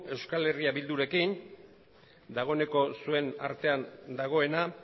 eh bildurekin dagoeneko zuen artean dagoena